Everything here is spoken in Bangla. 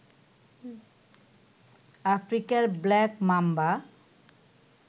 আফ্রিকার ব্ল্যাক মাম্বা